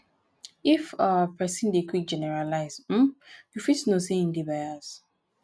if um person dey quick generalize um you fit know sey im dey bias